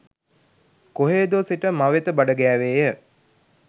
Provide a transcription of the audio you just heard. කොහේදෝ සිට මවෙත බඩ ගෑවේය